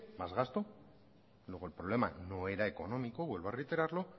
más gasto luego el problema no era económico vuelvo a reiterarlo